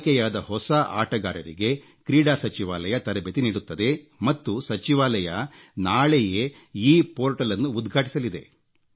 ಆಯ್ಕೆಯಾದ ಹೊಸ ಆಟಗಾರರಿಗೆ ಕ್ರೀಡಾ ಸಚಿವಾಲಯ ತರಬೇತಿ ನೀಡುತ್ತದೆ ಮತ್ತು ಸಚಿವಾಲಯ ನಾಳೆಯೇ ಈ ಪೋರ್ಟಲ್ ಅನ್ನು ಉದ್ಘಾಟಿಸಲಿದೆ